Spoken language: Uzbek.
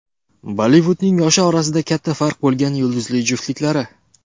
Bollivudning yoshi orasida katta farq bo‘lgan yulduzli juftliklari .